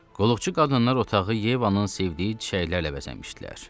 Qulluqçu qadınlar otağı Yevanın sevdiyi çiçəklərlə bəzəmişdilər.